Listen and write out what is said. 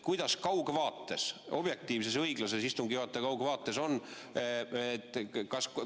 Kuidas kaugvaates, objektiivses õiglases istungi juhataja kaugvaates on?